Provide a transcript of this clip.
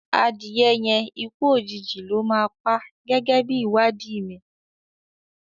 Adìye yẹn ikú òjìji ló máa pá gẹ́gẹ́ bí ìwádìí mi.